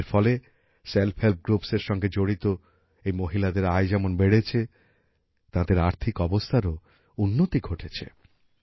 এরফলে self help groups এর সঙ্গে জড়িত এই মহিলাদের আয় যেমন বেড়েছে তাঁদের আর্থিক অবস্থারও উন্নতি ঘটেছে